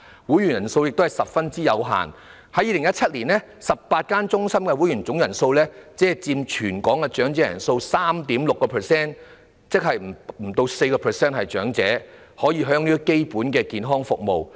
會員人數也十分有限，在2017年 ，18 間中心的會員總人數只佔全港長者人數的 3.6%； 換言之，不足 4% 的長者可享用基本的健康服務。